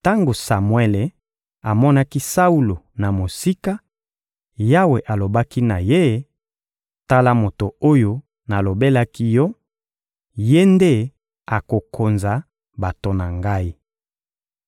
Tango Samuele amonaki Saulo na mosika, Yawe alobaki na ye: «Tala moto oyo nalobelaki yo; ye nde akokonza bato na Ngai.»